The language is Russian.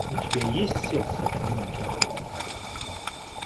у тебя есть сердце одинокий охотник